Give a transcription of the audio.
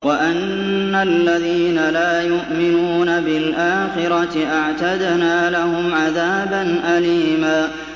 وَأَنَّ الَّذِينَ لَا يُؤْمِنُونَ بِالْآخِرَةِ أَعْتَدْنَا لَهُمْ عَذَابًا أَلِيمًا